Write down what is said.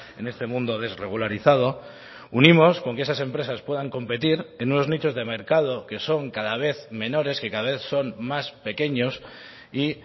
en este mundo desregularizado unimos con que esas empresas puedan competir en unos nichos de mercado que son cada vez menores que cada vez son más pequeños y